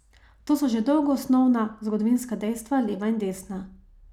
To so že dolgo osnovna zgodovinska dejstva, leva in desna.